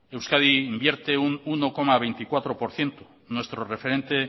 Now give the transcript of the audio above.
euskadi invierte un uno coma veinticuatro por ciento nuestro referente